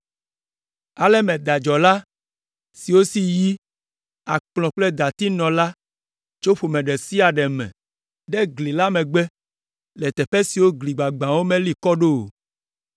Ale meda dzɔla siwo si yi, akplɔ kple dati nɔ la tso ƒome ɖe sia ɖe me ɖe gli la megbe le teƒe siwo gli gbagbãwo meli kɔ ɖo o.